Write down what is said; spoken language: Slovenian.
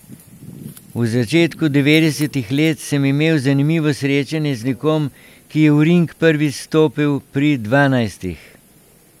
V začetku devetdesetih let sem imel zanimivo srečanje z nekom, ki je v ring prvič stopil pri dvanajstih.